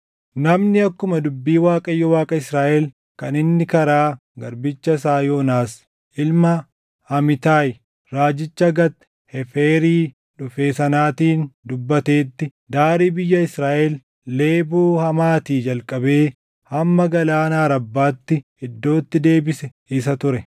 Namni akkuma dubbii Waaqayyo Waaqa Israaʼel kan inni karaa garbicha isaa Yoonaas ilma Amitaayi, raajicha Gat Heeferii dhufee sanaatiin dubbateetti daarii biyya Israaʼel Leeboo Hamaatii jalqabee hamma Galaana Arabbaatti iddootti deebise isa ture.